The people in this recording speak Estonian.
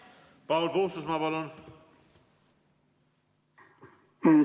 Paul Puustusmaa, palun!